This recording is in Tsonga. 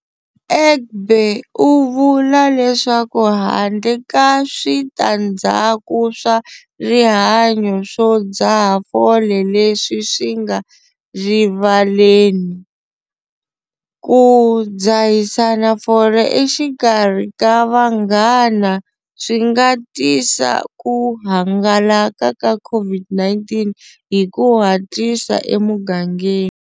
Egbe u vula leswaku handle ka switandzhaku swa rihanyo swo dzaha fole leswi swi nga rivaleni, ku dzahisana fole exikarhi ka vanghana swi nga tisa ku hangalaka ka COVID-19 hi ku hatlisa emugangeni.